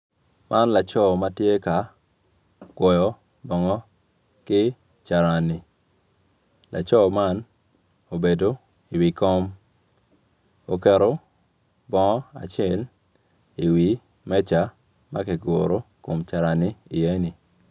Man laco ma tye ka kwoyo bongo ki carani laco man obedo iwi kom oketo bongo acel iwi meja ma kiguro kom carani iye-ni.